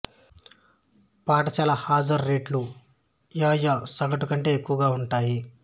పాఠశాల హాజరు రేట్లు యు యూ సగటు కంటే ఎక్కువగా ఉంటాయి